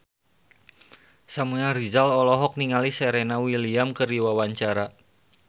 Samuel Rizal olohok ningali Serena Williams keur diwawancara